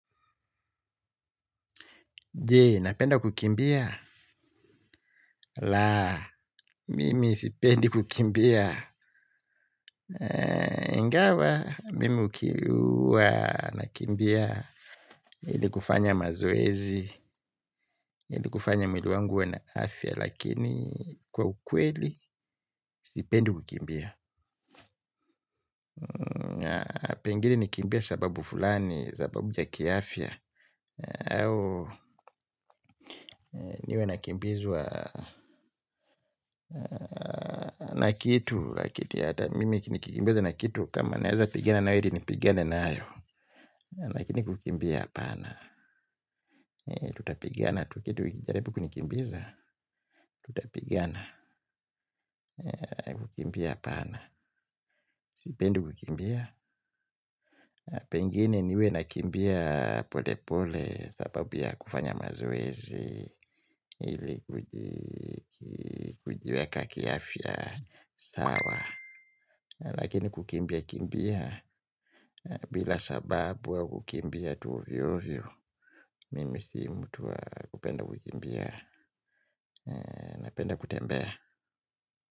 Jee, napenda kukimbia. La, mimi sipendi kukimbia. Ingawa, mimi huwa, nakimbia. Ili kufanya mazoezi, ili kufanya mwili wangu uwe na afya, lakini kwa ukweli, sipendi kukimbia. Pengine nikimbie sababu fulani, sababu ya ki afya. Niwe nakimbizwa na kitu. Mimi nikikimbizwa na kitu kama naeza pigana nayo heri nipigane nayo lakini kukimbia hapana tutapigana tu kitu ikijaribu kunikimbiza tutapigana kukimbia hapana, sipendi kukimbia pengine niwe nakimbia pole pole sababu ya kufanya mazoezi ili kujieka ki afya sawa lakini kukimbia kimbia bila sababu au kukimbia tu ovyo ovyo mimi si mtu wa kupenda kukimbia, napenda kutembea.